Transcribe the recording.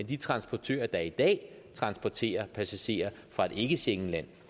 de transportører der i dag transporterer passagerer fra et ikke schengenland